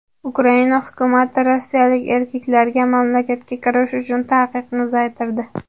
Ukraina hukumati rossiyalik erkaklarga mamlakatga kirish uchun taqiqni uzaytirdi.